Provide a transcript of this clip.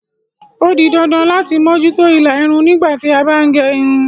O di dandan lati moju to ila irun nigba ti a ba n ge irun